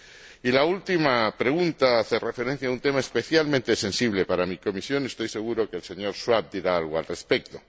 Y la última pregunta hace referencia a un tema especialmente sensible para mi comisión, estoy seguro de que el señor Schwab dirá algo al respecto.